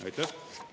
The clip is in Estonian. Aitäh!